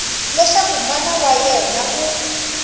leswaku mana wa yena u